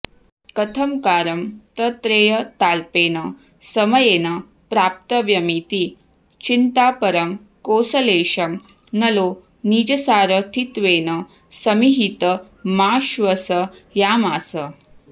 कथंकारं तत्रेयताल्पेन समयेन प्राप्तव्यमिति चिन्तापरं कोसलेशं नलो निजसारथित्वेन समीहितमाश्वसयामास